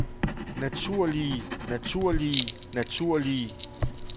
naturlige naturlige naturlige